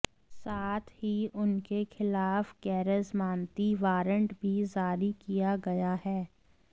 साथ ही उनके खिलाफ गैरजमानती वारंट भी जारी किया गया है